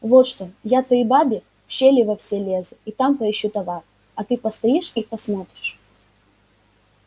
вот что я твоей бабе в щели во все лезу и там поищу товар а ты постоишь и посмотришь